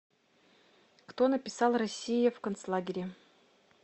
кто написал россия в концлагере